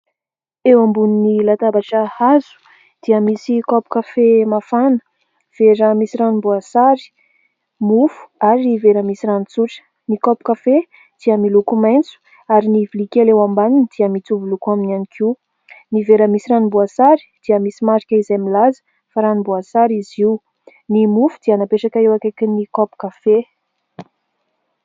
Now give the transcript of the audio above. Eo ambony latabatra hazo dia misy kaopy kafe mafana, vera misy ranom-boasary, mofo, ary vera misy rano tsotra. Ny kaopy kafe dia miloko maitso ary ny vilia kely eo ambaniny dia mitovy loko aminy ihany koa. Ny vera misy ranom-boasary dia misy marika izay milaza fa ranom-boasary izy io. Ny mofo dia napetraka eo akaikin'ny kaopy kafe.